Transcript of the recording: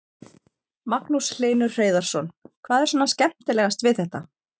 Magnús Hlynur Hreiðarsson: Hvað er svona skemmtilegast við þetta?